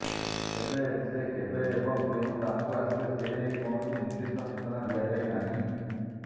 ତେବେ ସେ କେବେ ଏବଂ କେଉଁ ସ୍ଥାନକୁ ଆସିବେ ସେନେଇ କୌଣସି ନିର୍ଦ୍ଦିଷ୍ଟ ସୂଚନା ଦିଆଯାଇ ନାହିଁ